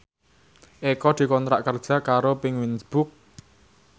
Eko dikontrak kerja karo Penguins Books